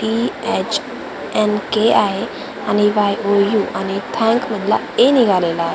T H N K आहे आणि Y O U आणि थॅंक मधला ए निघालेला आहे.